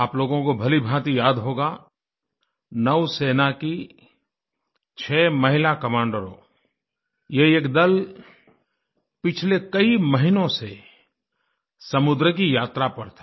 आप लोगों को भलीभांति याद होगा नौसेना की 6 महिला कमांडरों ये एक दल पिछले कई महीनों से समुद्र की यात्रा पर था